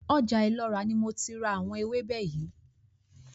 Ọjà Ìlọra kó ni mo ti ra ewébè yìí óò.